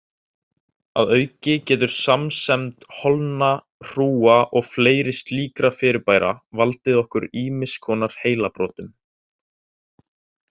Að auki getur samsemd holna, hrúga og fleiri slíkra fyrirbæra valdið okkur ýmiss konar heilabrotum.